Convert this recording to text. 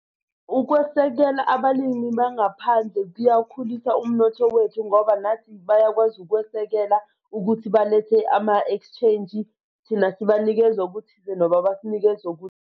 Ukwesekela abalimi bangaphandle kuyawukhulisa umnotho wethu, ngoba nathi bayakwazi ukwesekela ukuthi balethe ama-exchange thina sibanikeza okuthize nabo bakunikeze .